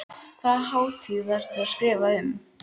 Hvaða hátíð varstu að skrifa um?